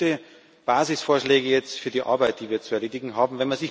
Das sind gute Basisvorschläge für die Arbeit, die wir zu erledigen haben.